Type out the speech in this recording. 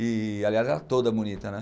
E, aliás, ela é toda bonita, né?